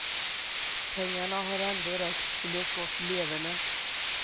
Pengarna har ändå räckt till ett gott leverne.